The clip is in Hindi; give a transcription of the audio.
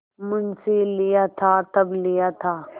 मुंशीलिया था तब लिया था